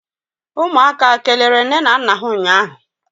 umuaka kelere nne na nna ha ụnyahụ?